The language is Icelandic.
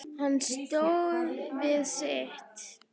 Hann stóð við sitt.